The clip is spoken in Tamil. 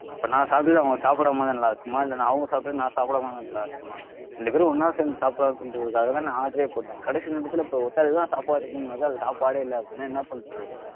இப்போ நான் சாப்பிடுட்டு அவங்க சாப்பிடாம இருந்தா நல்லா இருக்குமா? இல்ல நான் அவங்க சாப்பிடுட்டு நான் சாப்பிடாம இருந்தா நல்லா இருக்குமா? ரெண்டு பேரும் ஒன்னா சேர்ந்து சாப்பிடலாம் சொல்றதுக்காக தான் நான் order ஏ போட்டேன். கடைசி நேரத்துல இப்போ ஒருத்தருக்கு தான் சாப்பாடு இருக்கும்னும்போது அது சாப்பாடே இல்ல அப்படின்னா என்ன பண்றது வந்து?